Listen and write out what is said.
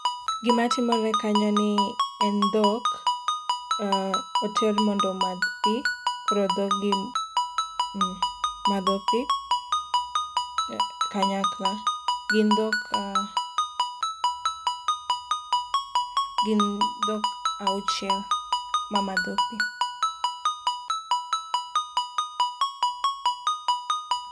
Gima timore kanyo en ni en dhok, eeeh, oter mondo omadh pii koro dhog gi madho pii kanyakla. Gin dhok, gin dhok auchiel mamadho pii